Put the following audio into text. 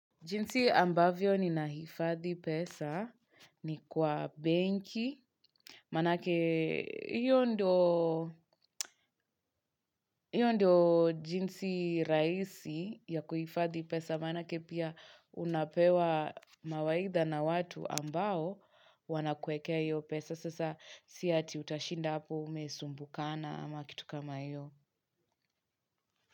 Jinsi ambavyo ni nahifadhi pesa ni kwa benki, manake hiyo ndo jinsi raisi ya kuhifadhi pesa manake pia unapewa mawaidha na watu ambao wana kuekea iyo pesa sasa siati utashinda apu umesumbukana ama kitu kama iyo.